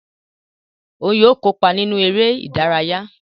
Òún yóò kópa nínú eré ìdárayá